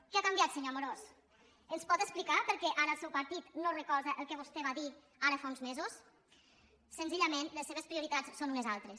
què ha canviat senyor amorós ens pot explicar per què ara el seu partit no recolza el que vostè va dir ara fa uns mesos senzillament les seves prioritats són unes altres